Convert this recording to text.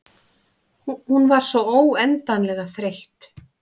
Hún var svo óendanlega þreytt.